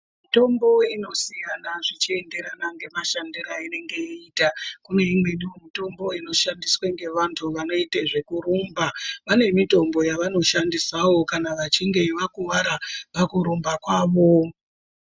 Mitombo inosiya zvichienderana nemashandire einenge yeiita imwe inoshandiswe nevantu vanoite zvekurumba vanemitombo yavanoshandisawo vachinge vakuvara pakurumba kwavo.